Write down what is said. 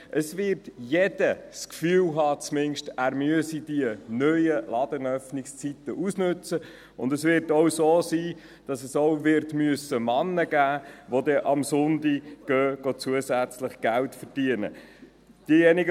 Es wird das Gefühl haben, er müsse die neuen Ladenöffnungszeiten ausnützen, und es wird auch Männer geben müssen, die am Sonntag zusätzlich Geld verdienen gehen.